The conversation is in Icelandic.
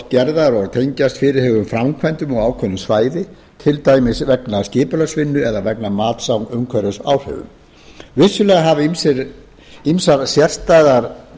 gerðar og tengjast fyrirhuguðum framkvæmdum á ákveðnu svæði til dæmis vegna skipulagsvinnu eða vegna mats á umhverfisáhrifum vissulega hafa ýmsar sérstæðar